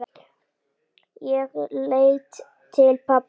Ég leit til pabba.